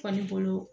Faribolo